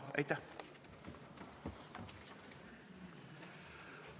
Aitäh!